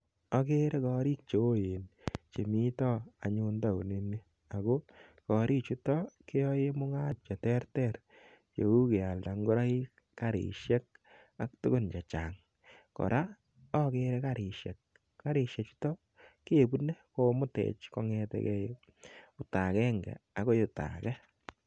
Agere koriik cheu chemita taon initon. Ako korichutin keyae mung'aroshek che terter cheu kealda ngoroik, karishek ak tugun che chang',Kora agere karishek. Karishechuton kepune kong'ete gei olda agenge akoi olda age.